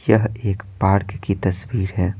यह एक पार्क की तस्वीर है।